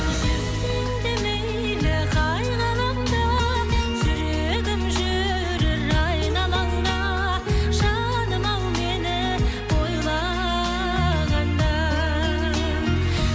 жүрсең де мейлі қай ғаламда жүрегім жүрер айналаңда жаным ау мені ойлағанда